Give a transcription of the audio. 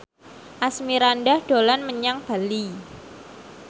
Asmirandah dolan menyang Bali